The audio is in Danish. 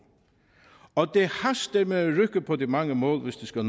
og det haster med at rykke på de mange mål hvis de skal